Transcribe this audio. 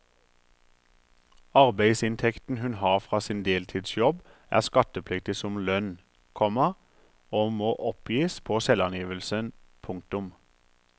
Arbeidsinntekten hun har fra sin deltidsjobb er skattepliktig som lønn, komma og må oppgis på selvangivelsen. punktum